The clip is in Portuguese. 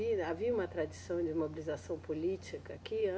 havia uma tradição de mobilização política aqui?